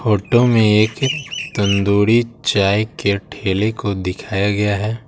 Photo में एक तंदूरी चाय के ठेले को दिखाया गया है।